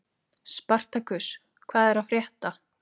Spartakus, hvað er að frétta?